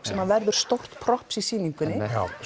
sem að verður stórt props í sýningunni